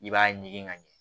I b'a ɲigin ka ɲɛ